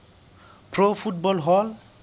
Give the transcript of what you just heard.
pro football hall